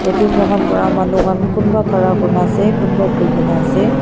yete moikhan pra manu khan kumba khara kuri na ase kumba buhi gina ase.